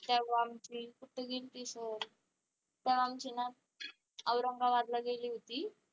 तेव्हा आमची तेव्हा आमची ना औरंगाबादला गेली होती.